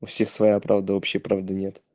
у всех своя правда общий правды нет